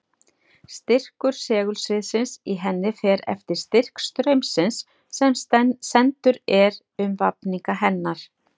Styrkur segulsviðsins í henni fer eftir styrk straumsins sem sendur er um vafninga hennar.